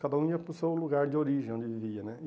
Cada um ia para o seu lugar de origem, onde vivia né.